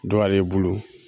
Dɔ ale bolo